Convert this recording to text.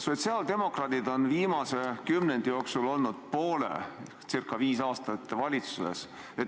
Sotsiaaldemokraadid on viimase kümnendi jooksul olnud poole sellest ajast, circa viis aastat valitsuses.